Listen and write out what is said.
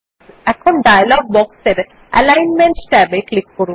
এখন ডায়লগ বক্সের অ্যালিগ্নমেন্ট ট্যাবে ক্লিক করুন